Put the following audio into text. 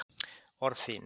Orð þín